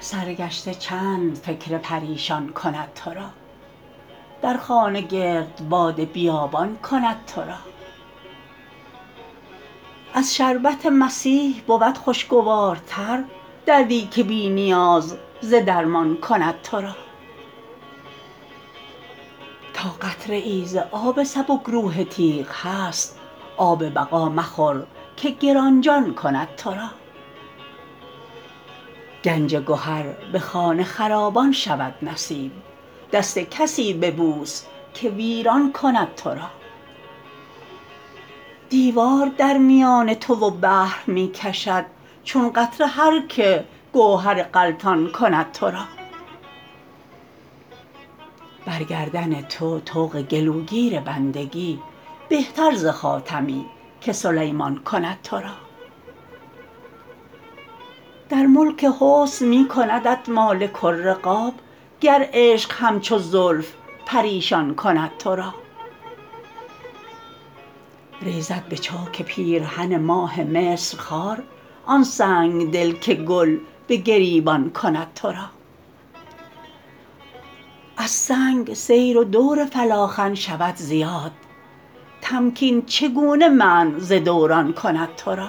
سرگشته چند فکر پریشان کند ترا در خانه گردبد بیابان کند ترا از شربت مسیح بود خوشگوارتر دردی که بی نیاز ز درمان کند ترا تا قطره ای ز آب سبکروح تیغ هست آب بقا مخور که گرانجان کند ترا گنج گهر به خانه خرابان شود نصیب دست کسی ببوس که ویران کند ترا دیوار در میان تو و بحر می کشد چون قطره هر که گوهر غلطان کند ترا بر گردن تو طوق گلوگیر بندگی بهتر ز خاتمی که سلیمان کند ترا در ملک حسن می کندت مالک الرقاب گر عشق همچو زلف پریشان کند ترا ریزد به چاک پیرهن ماه مصر خار آن سنگدل که گل به گریبان کند ترا از سنگ سیر و دور فلاخن شود زیاد تمکین چگونه منع ز دوران کند ترا